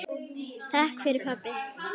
Takk fyrir pabbi.